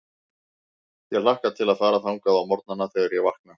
Ég hlakka til að fara þangað á morgnana, þegar ég vakna.